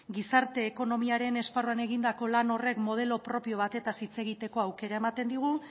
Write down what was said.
gizarte ekonomiaren esparruan egindako lan horrek modelo propio batez hitz egiteko aukera ematen digu